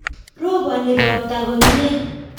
Roboni ropta komie